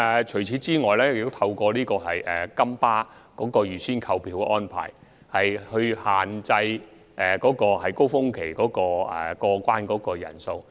除此之外，金巴推出預先購票的安排，亦限制了高峰期過關人士的數目。